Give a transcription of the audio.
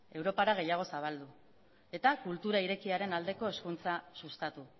europara gehiago zabaldu eta kultura irekiaren aldeko hezkuntza sustatu